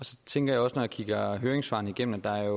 så tænker jeg også når jeg kigger høringssvarene igennem at